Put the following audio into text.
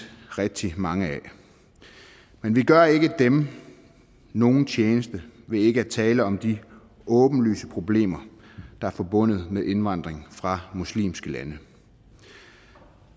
rigtig mange af men vi gør ikke dem nogen tjeneste ved ikke at tale om de åbenlyse problemer der er forbundet med indvandring fra muslimske lande